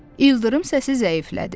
İldırım səsi zəiflədi.